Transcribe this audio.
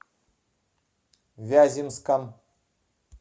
вяземском